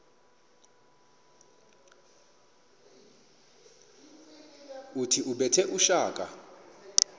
othi ubethe utshaka